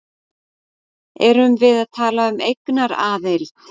Erum við að tala um eignaraðild?